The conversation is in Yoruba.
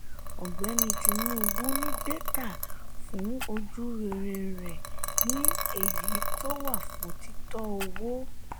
ọgbẹni tinubu ní data fún ojú-rere rẹ ní èyí tó wà fún títọ owó.